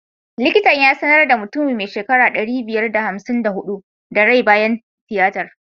Likitan ya sanar da mutumin mai shekaru ɗari biyar da hamsin da huɗu da rai bayan tiyatar.